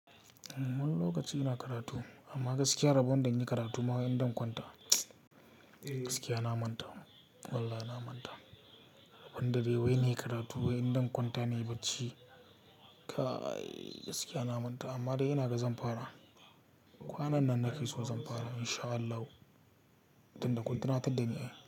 Wani lokaci ina karatu amma gaskiya rabon da in yi karatu ma wai in dan kwanta, eh gaskiya na manta. Wallahi na manta. Rabon da dai wai nayi karatu wai in dan kwanta nayi bacci. Kai gaskiya na manta amma dai ina ga zan fara. Kwanan nan nake so zan fara in sha Allahu tunda kun tunatar da ni.